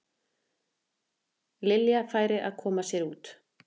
Lilja færi að koma sér út.